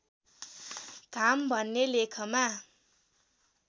धाम भन्ने लेखमा